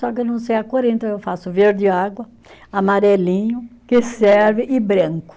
Só que eu não sei a cor, então eu faço verde água, amarelinho, que serve, e branco.